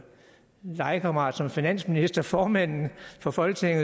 legekammerat som finansminister formanden for folketinget